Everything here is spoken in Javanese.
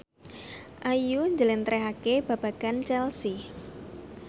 Ayu njlentrehake babagan Chelsea